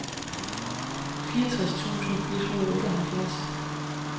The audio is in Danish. fireogtres tusind et hundrede og otteoghalvfjerds